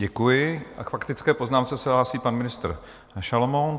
Děkuji a k faktické poznámce se hlásí pan ministr Šalomoun.